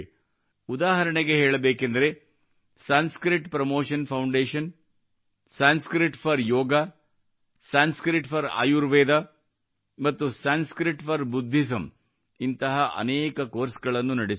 ಉದಾಹರಣೆಗೆ ಹೇಳಬೇಕೆಂದರೆ Sanskrit promotion foundation Sanskrit for Yog Sanskrit for Ayurveda ಮತ್ತು ಸಂಸ್ಕೃತ್ ಫೋರ್ ಬುದ್ಧಿಸಂ ನಂತಹ ಅನೇಕ ಕೋರ್ಸ್ ಗಳನ್ನು ನಡೆಸುತ್ತಿವೆ